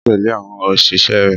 Ọkùnrin náà gbẹ́kẹ̀lé àwọn òṣìṣẹ́ rẹ̀